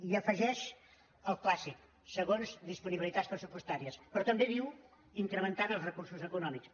hi afegeix el clàssic segons disponibilitats pressu·postàries però també diu incrementant els recursos econòmics